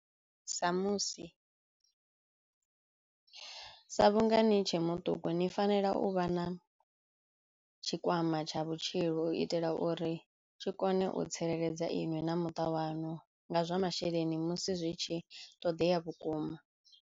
Sa musi, sa vhunga ni tshe muṱuku ni fanela u vha na tshikwama tsha vhutshilo u itela uri tshi kone u tsireledza iṅwi na muṱa waṋu nga zwa masheleni musi zwi tshi ṱoḓea vhukuma.